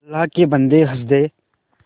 अल्लाह के बन्दे हंसदे